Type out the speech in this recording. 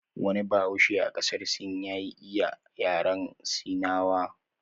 Wani bahaushe a qasar sin ya iya yaren sinawa